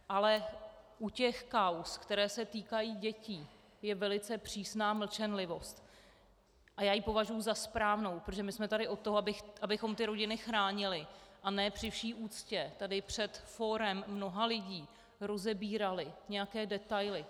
Ale u těch kauz, které se týkají dětí, je velice přísná mlčenlivost a já ji považuji za správnou, protože my jsme tady od toho, abychom ty rodiny chránily a ne při vší úctě tady před fórem mnoha lidí rozebírali nějaké detaily.